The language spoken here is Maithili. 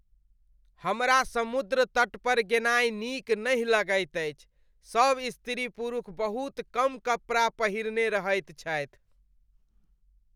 हमरा समुद्र तट पर गेनाय नीक नहि लगैत अछि। सब स्त्री पुरुख बहुत कम कपड़ा पहिरने रहैत छथि।